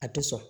A tɛ sɔn